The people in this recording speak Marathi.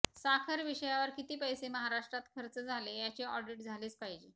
साखर विषयावर किती पैसे महाराष्ट्रात खर्च झाले याचे ऑडिट झालेच पाहिजे